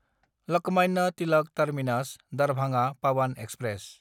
Lokmanya Tilak टार्मिनास–दारभाङा Pawan express